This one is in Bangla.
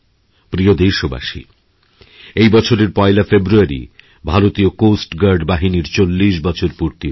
প্রিয় দেশবাসী এবছরের ১লাফেব্রুয়ারি ভারতীয় কোস্ট গার্ড বাহিনীর চল্লিশ বছর পূর্তি হচ্ছে